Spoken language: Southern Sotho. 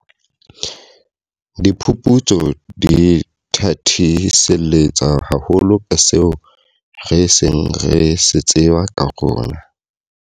Diphuputso di thathiselletsa haholo ka seo re seng re se tseba ka rona.